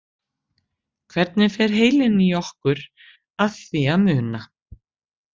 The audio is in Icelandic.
Hvernig fer heilinn í okkur að því að muna?